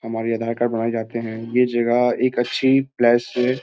हमारी आधार कार्ड बनाए जाते हैं ये जगह एक अच्छी प्लेस --